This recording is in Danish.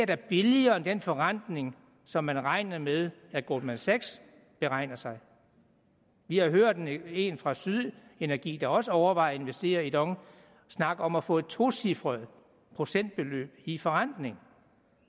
da billigere end den forrentning som man regner med at goldman sachs beregner sig vi har hørt en fra syd energi der også overvejer at investere i dong snakke om at få et tocifret procentbeløb i forrentning